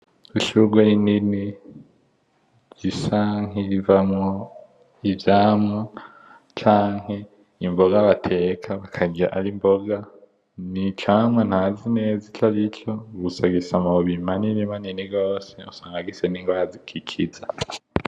Ishurwe rinini risa nkirivamwo ivyamwa canke imboga bateka bakarirya ari imboga n,icamwa ntazi neza ico ari aco gusa gifise amababi manini manini gose usanga gifise ni ngwara gikiza .